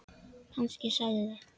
Kannski sagði